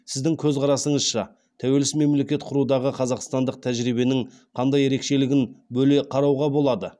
сіздің көзқарасыңызша тәуелсіз мемлекет құрудағы қазақстандық тәжірибенің қандай ерекшелігін бөле қарауға болады